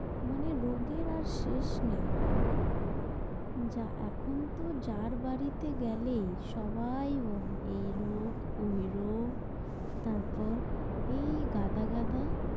মানে রোগের আর শেষ নেই। যা এখন তো যার বাড়িতে গেলেই সবাই বলে এই রোগ ঐ রোগ, তারপর এই গাদা, গাদা,